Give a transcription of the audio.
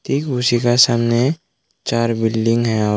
ठीक उसी के सामने चार बिल्डिंग हैं और--